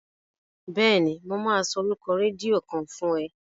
Bẹ́ẹ̀ni, mo máa sọ orúkọ rédíò kan fún ẹ.